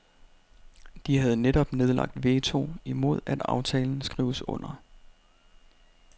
De har netop nedlagt veto imod at aftalen skrives under.